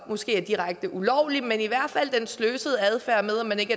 måske er direkte ulovlig men i hvert fald den sløsede adfærd med at man ikke